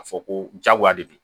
A fɔ ko jagoya de bi